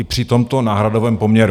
I při tomto náhradovém poměru.